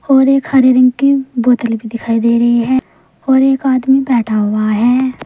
और एक हरे रंग की बोतल भी दिखाई दे रही है और एक आदमी बैठा हुआ है।